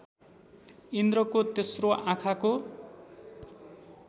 इन्द्रको तेस्रो आँखाको